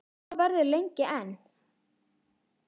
Og svo verður lengi enn.